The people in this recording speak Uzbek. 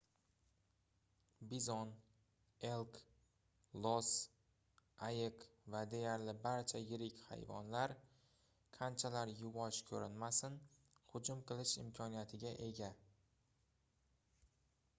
bizon elk los ayiq va deyarli barcha yirik hayvonlar qanchalar yuvosh koʻrinmasin hujum qilish imkoniyatiga ega